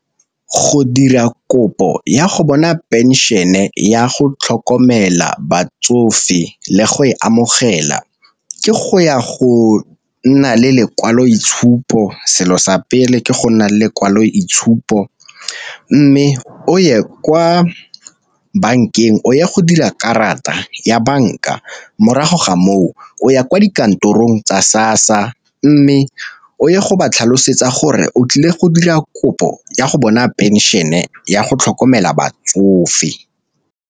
Go dira kopo ya go bona pension-e ya go tlhokomela batsofe le go e amogela ke go ya go nna le lekwaloitshupo, selo sa pele ke go nna le lekwaloitshupo mme o ye kwa bankeng o ye go dira karata ya banka morago ga moo o ya kwa dikantorong tsa SASSA, mme o ye go ba tlhalosetsa gore o tlile go dira kopo ya go bona pension-e ya go tlhokomela batsofe.